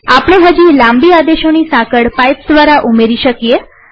આપણે હજી લાંબી આદેશોની સાંકળ પાઈપ્સ દ્વારા ઉમેરી શકીએ